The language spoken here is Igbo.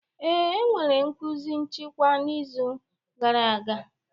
Ee, e nwere nkuzi nchịkwa n'izu gara aga.